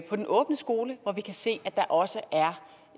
på den åbne skole hvor vi kan se at der også er